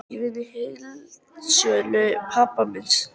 Ég vinn í heildsölu pabba míns.